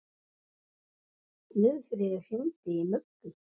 Guðfríður, hringdu í Mugg.